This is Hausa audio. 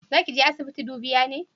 Za ki je asibiti dubiya ne?